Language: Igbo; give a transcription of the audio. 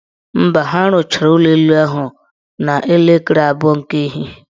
Mba, ha rụchara ụlọelu ahụ n' elekere abụọ nke ehihie.